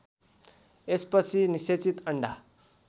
यसपछि निषेचित अन्डा